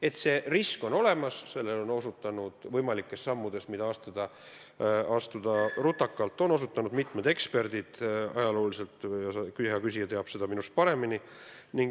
Et see risk on olemas, sellele on osutanud mitmed võimalike rutakate sammude eest hoiatanud eksperdid – hea küsija teab seda minust paremini.